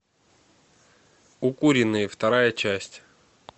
укуренные вторая часть